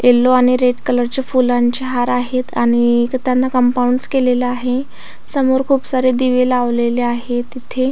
Yellow आणि red colour चे फुलांचे हार आहेत आणि त्यांना कम्पाउंडस केलेलं आहे समोर खूप सारे दिवे लावलेले आहेत इथे.